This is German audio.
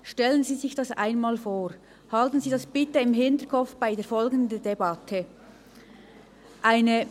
Stellen Sie sich dies einmal vor und behalten Sie dies bitte in der folgenden Debatte im Hinterkopf.